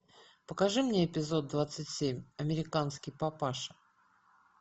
покажи мне эпизод двадцать семь американский папаша